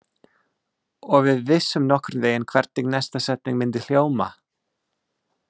Og við vissum nokkurn vegin hvernig næsta setning myndi hljóma.